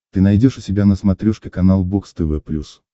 ты найдешь у себя на смотрешке канал бокс тв плюс